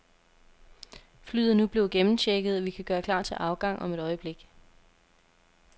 Flyet er nu blevet gennemchecket, og vi kan gøre klar til afgang om et øjeblik.